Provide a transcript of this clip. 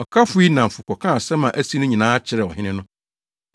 Ɔkafo yi nnamfo kɔkaa asɛm a asi no nyinaa kyerɛɛ ɔhene no.